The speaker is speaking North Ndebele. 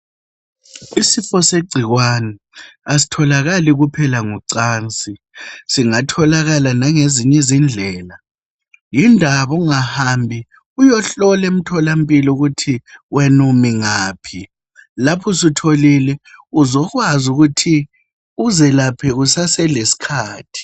Isifo segcikwane, asitholakali kuphela ngocansi, singatholakala langezinye izindlela. Yindaba ungahambi uyehlolwa emtholampilo ukuthi wenu umi ngaphi lapho usutholile uzokwazi ukuthi uzelaphe kusase lesikhathi